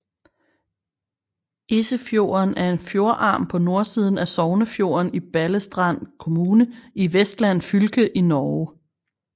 Esefjorden er en fjordarm på nordsiden af Sognefjorden i Balestrand kommune i Vestland fylke i Norge